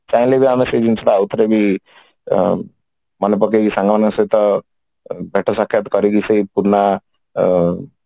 ଚାହିଁଲେ ବି ଆମେ ସେ ଜିନିଷ ଟା ଆଉ ଥରେ ଅମ୍ ମନେ ପକେଇକି ସାଙ୍ଗ ମାନଙ୍କ ସହିତ ଭେଟ ସାକ୍ଷ୍ୟାତ କରିକି ସେଇ ପୁରୁଣା ଅମ୍